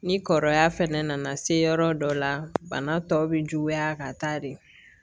Ni kɔrɔya fɛnɛ nana se yɔrɔ dɔ la bana tɔ bɛ juguya ka taa de